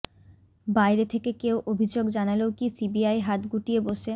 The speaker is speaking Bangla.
বাইরে থেকে কেউ অভিযোগ জানালেও কি সিবিআই হাত গুটিয়ে বসে